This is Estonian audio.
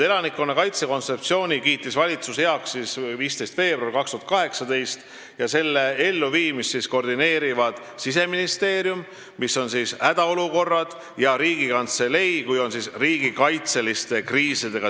Elanikkonnakaitse kontseptsiooni kiitis valitsus heaks 15. veebruaril 2018 ning selle elluviimist koordineerivad Siseministeerium ja Riigikantselei .